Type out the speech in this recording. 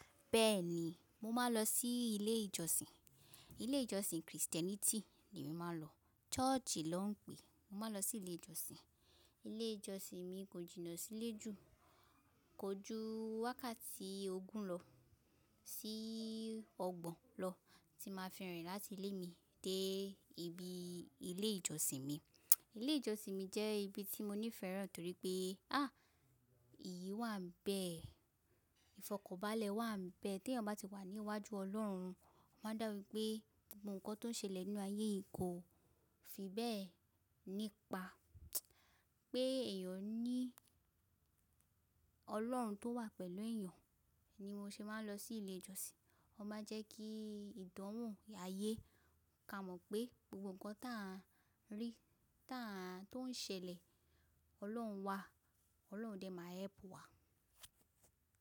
Bẹ́ẹ̀ni, mo máa ń lọ sí ilé ìjọsìn. Ilé ìjọsìn Christianity ni emi máa ń lọ. Church ló ń pè é. Mo máa ń lọ sí ilé ìjọsìn. Ilé ìjọsìn mi kò jìnnà sílé jù. Kò ju wákàtí ogún lọ sí ọgbọ̀n lọ tí màá fi rìn láti ilé mi dé ibi ilé ìjọsìn mi. Ile ijọsin mi jẹ ibi ti mo nifẹ rẹ toripe. A, iyì wa n bẹẹ ifọkanbale wa n bẹẹ. Tí èèyàn bá ti wà níwájú Ọlọ́run, ọ máa dá wipé gbogbo nǹkan tó ń ṣẹlẹ̀ nínú ayé yìí kò fi bẹ́ẹ̀ nípa pé èèyàn ní Ọlọ́run tó wà pẹ̀lú èèyàn ni mo ṣe máa ń lọ sí ilé ìjọsìn. Ọ máa jẹ́ kí ìdánwò ayé ka mọ̀ pé gbogbo nǹkan táà ń rí, táà tó ń ṣẹlẹ̀, Ọlọ́run wà, Ọlọ́run dẹ̀ máa help wa.